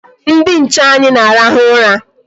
Ndị nche anyị na-arahụ ụra.